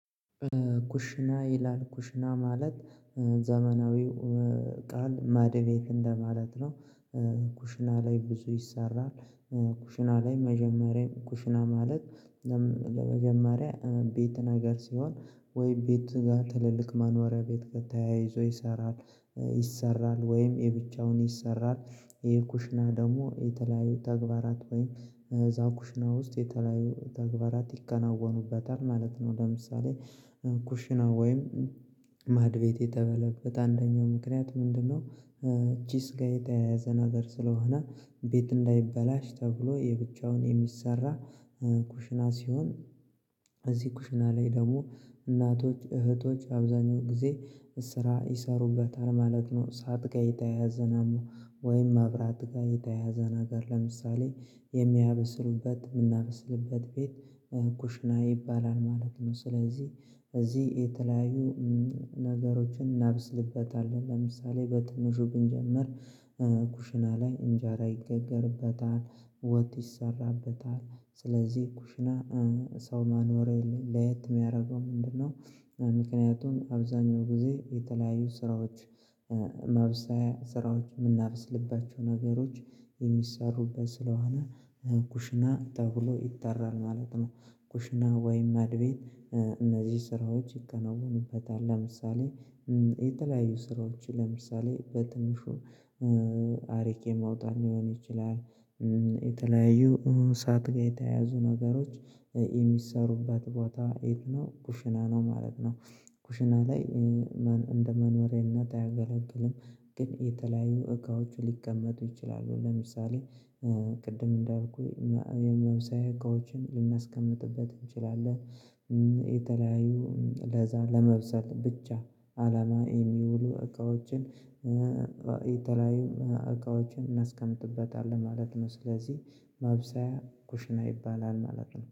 ኩሽና ይላል ኩሽና ማለት ዘመናዊው እቃ ማዕድ ቤት እንደማለት ነው። ኩሽና ላይ ብዙ ይሰራል። ኩሽና ላይ መጀመሪያ ኩሽና ማለት ለመጀመሪያ ቤት ነገር ሲሆን ወይ ቤት ጋር ትልልቅ መኖሪያ ቤት ጋር ተያይዞ ይሰራል ይሰራል ወይም የብቻውን ይሰራል ይሄ ኩሽና ደግሞ የተለያዩ ተግባራት ወይም እዛ ኩሽና ውስጥ የተለያዩ ተግባራት ይከናወኑበታል ማለት ነው። ለምሳሌ ኩሽና ወይም ማዕድ ቤት የተበለበት አንደኛው ምክንያት ምንድነው? ጭስ ጋር የተያያዘ ነገር ስለሆነ ቤት እንዳይበላሽ ተብሎ የብቻውን የሚሰራ ኩሽና ሲሆን። እዚህ ኩሽና ላይ ደግሞ እናቶች እህቶች አብዛኛው ጊዜ ስራ ይሰሩበታል ማለት ነው። እሳት ጋ የተያያዘ ነው ወይም መብራት ጋር የተያያዘ ነገር ለምሳሌ የሚያብስሉበት የምናብስልበት ቤት ኩሽና ይባላል ማለት ነው። ስለዚህ በዚህ የተለያዩ ነገሮችን እናበስልበታለን ለምሳሌ በትንሹ ብንጀምር ኩሽና ላይ እንጀራ ይጋጋርበታል። ወጥ ይሰራበታል ስለዚህ ኩሽና ሰው መኖሬያ ለየት የሚያደርገው ምንድነው? ምክንያቱም አብዛኛው ጊዜ የተለያዩ ስራዎች ማብሰያ ስራዎች የምናበስልባቸው ነገሮች የሚሰሩበት ስለሆነ ኩሽና ተብሎ ይጠራል ማለት ነው። ኩሽና ወይም ማዕድ ቤት እነዚህ ስራዎች ይከናወኑበታል ለምሳሌ የተለያዩ ስራዎች ለምሳሌ በትንሹ አርጌ ማውጣት ሊሆን ይችላል። የተለያዩ እሳት ጋር የተያያዙ ነገሮች የሚሰሩበት ቦታ የት ነው ኩሽና ነው ማለት ነው። ኩሽና ላይ እንደ መኖሪያነት አያገለግልም። ግን የተለያዩ እቃዎች ሊቀመጡ ይችላሉ ለምሳሌ ቅድም እንዳልኩህ የማብሰያ እቃዎችን ልናስቀምጥበት እንችላለን የተለያዩ ለዛ ለመብሰል ብቻ አለማ የሚውሉ እቃዎችን የተለያዩ እቃዎችን እናስቀምጥበታለን ማለት ነው። ስለዚህ ማብሰያ ኩሽና ይባላል ማለት ነው